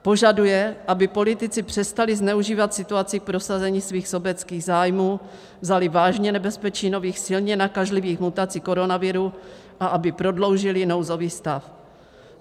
Požaduje, aby politici přestali zneužívat situaci k prosazení svých sobeckých zájmů, vzali vážně nebezpečí nových silně nakažlivých mutací koronaviru a aby prodloužili nouzový stav.